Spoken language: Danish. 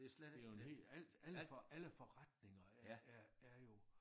Det jo en helt alt alt alle forretninger er er er jo